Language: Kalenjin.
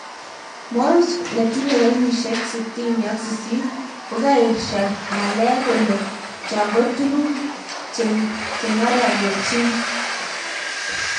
Moonves ,netinye keyisiek 68,kokaesha nyalek kolen cho ko tuguk chengarakechin